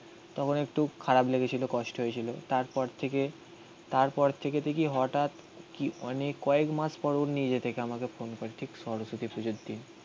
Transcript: তখন একটু খারাপ লেগেছিল কষ্ট হয়েছিল. তারপর থেকে তারপর থেকে দেখি হঠাৎ কি অনেক কয়েকমাস পর ও নিজে থেকে আমাকে ঠিক সরস্বতীর পুজোর দিন.